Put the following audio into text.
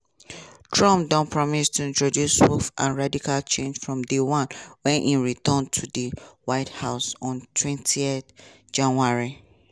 trump don promise to introduce swift and radical change from day one wen e return to di white house ontwentyjanuary.